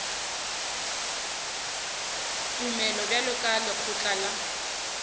tumelelo bjalo ka lekgotla la